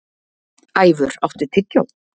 Ævör, áttu tyggjó?